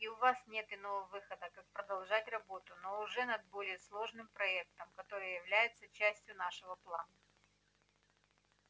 и у вас нет иного выхода как продолжать работу но уже над более сложным проектом который является частью нашего плана